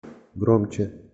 громче